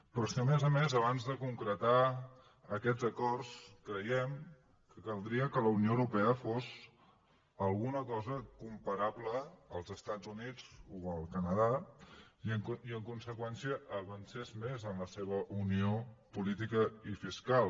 però és que a més a més abans de concretar aquests acords creiem que caldria que la unió europea fos alguna cosa comparable als estats units o al canadà i en conseqüència avancés més en la seva unió política i fiscal